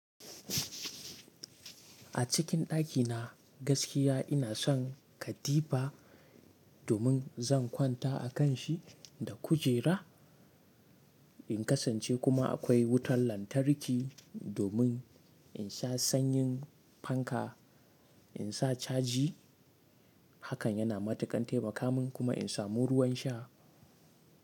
A cikin ɗakina gaskiya ina son katifa domin zan kwanta a kanshi da kujera. In kasance kuma akwai wutan lantarki domin in sha sanyin fanka, in sa caji. Hakan yana matuƙan taimaka min, kuma in samu ruwan sha.